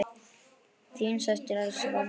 Þín systir, Elsa Valdís.